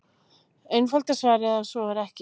Einfalda svarið er að svo er ekki.